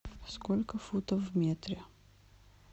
сколько футов в метре